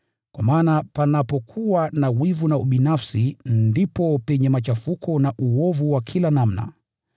Kwa maana panapokuwa na wivu na ubinafsi, ndipo penye machafuko na uovu wa kila namna.